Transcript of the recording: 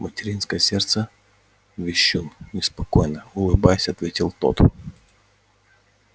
материнское сердце вещун неспокойно улыбаясь ответил тот